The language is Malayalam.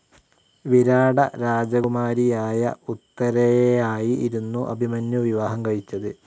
വിരാട രാജകുമാരിയായ ഉത്തരേയായിരുന്നു അഭിമന്യൂ വിവാഹം കഴിച്ചത്.